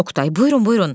Oqtay: Buyurun, buyurun.